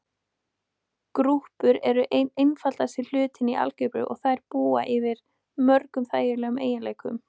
Grúpur eru einn einfaldasti hluturinn í algebru og þær búa yfir mörgum þægilegum eiginleikum.